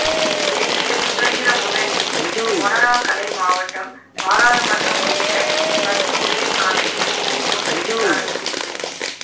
தேசிய சுதந்திரம் முன்னணியின் மொனராகலை மாவட்டம் பாராளுமன்றம் உறுப்பினர் பத்ம உதயசாந்த நிதிமோசடி விசாரணை பிரிவு